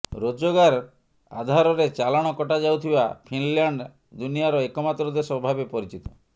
ରୋଜଗାର ଆଧାରରେ ଚାଲାଣ କଟାଯାଉଥିବା ଫିନଲ୍ୟାଣ୍ଡ ଦୁନିଆର ଏକମାତ୍ର ଦେଶ ଭାବେ ପରିଚିତ